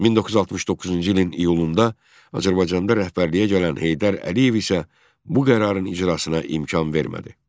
1969-cu ilin iyulunda Azərbaycanda rəhbərliyə gələn Heydər Əliyev isə bu qərarın icrasına imkan vermədi.